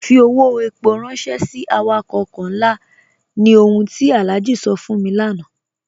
Fí ọwọ́ èpó ránṣẹ̀ sí àwàkọ̀ ọ̀kọ̀ nlá, ní ọ̀hùn ti Alhaji sọ̀ fún mi lánà.